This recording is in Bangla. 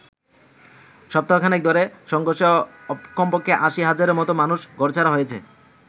সপ্তাহ খানেক ধরে চলা সংঘর্ষে কমপক্ষে আশি হাজারের মতো মানুষ ঘরছাড়া হয়েছে।